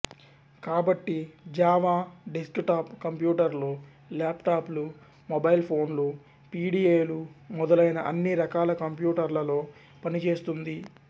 కాబట్టి Java desktop కంప్యూటర్లు laptop లు మొబైల్ ఫోన్లు పిడిఏలు మొదలైన అన్ని రకాల కంప్యూటర్లలో పనిచేస్తుంది